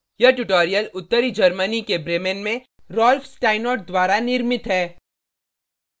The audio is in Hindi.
यह ट्यूटोरियल उत्तरी germany के bremen में rolf steinort द्वारा निर्मित है